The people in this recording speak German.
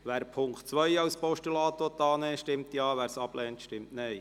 Wer die Ziffer 2 als Postulat annimmt, stimmt Ja, wer diese ablehnt, stimmt Nein.